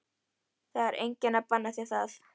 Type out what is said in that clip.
Það er enginn að banna þér það.